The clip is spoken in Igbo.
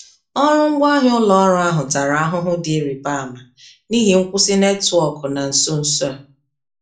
Ọrụ ngwaahịa ụlọ ọrụ ahụ tara ahụhụ dị ịrịba ama n'ihi nkwụsị netwọkụ na nso nso a.